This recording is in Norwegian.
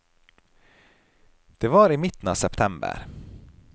Det var i midten av september.